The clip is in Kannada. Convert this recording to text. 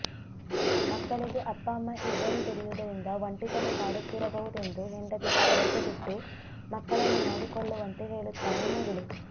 ಮಕ್ಕಳಿಗೆ ಅಪ್ಪ ಅಮ್ಮ ಇಬ್ಬರೂ ದುಡಿಯುವುದರಿಂದ ಒಂಟಿತನ ಕಾಡುತ್ತಿರಬಹುದೆಂದು ಹೆಂಡತಿಗೆ ಕೆಲಸ ಬಿಟ್ಟು ಮಕ್ಕಳನ್ನು ನೋಡಿಕೊಳ್ಳುವಂತೆ ಹೇಳುತ್ತಾನೆ ಮುರಳಿ